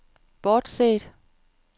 bortset